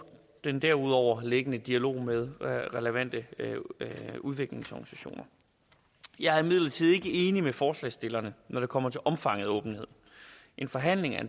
den derudover liggende dialog med relevante udviklingsorganisationer jeg er imidlertid ikke enig med forslagsstillerne når det kommer til omfanget af åbenhed en forhandling af